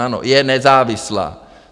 Ano, je nezávislá.